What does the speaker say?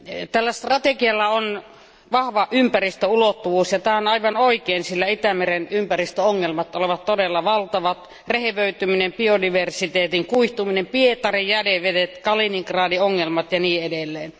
Tällä strategialla on vahva ympäristöulottuvuus, ja tämä on aivan oikein, sillä Itämeren ympäristöongelmat ovat todella valtavat rehevöityminen, biodiversiteetin kuihtuminen, Pietarin jätevedet, Kaliningradin ongelmat ja niin edelleen.